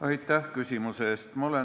Aitäh küsimuse eest!